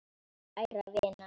Kæra vina!